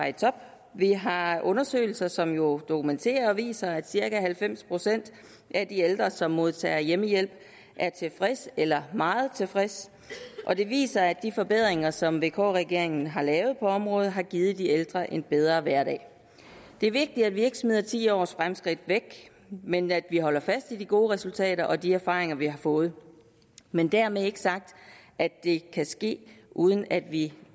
i top vi har har undersøgelser som jo dokumenterer og viser at cirka halvfems procent af de ældre som modtager hjemmehjælp er tilfredse eller meget tilfredse og det viser at de forbedringer som vk regeringen har lavet på området har givet de ældre en bedre hverdag det er vigtigt at vi ikke smider ti års fremskridt væk men at vi holder fast i de gode resultater og de erfaringer vi har fået men dermed ikke sagt at det ikke kan ske uden at vi